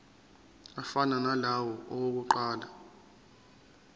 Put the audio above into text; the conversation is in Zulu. afana nalawo awokuqala